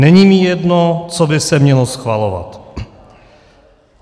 Není mi jedno, co by se mělo schvalovat.